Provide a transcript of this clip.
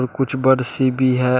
कुछ बर्ड्स सी भी है।